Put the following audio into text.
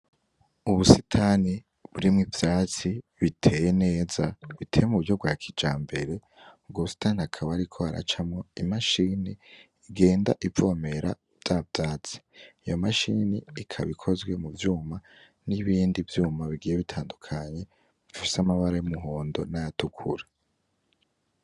Ubusitani burimwo ivyatsi biteye neza buteye mu buryo bwa kijambere, ubwo busitani hakaba hariko haracamwo imashini igenda ivomera vya vyatsi, iyo mashini ikaba ikozwe mu vyuma nibindi vyuma bigiye bitandukanye bifise amabara y'umuhondo n'ayatukura.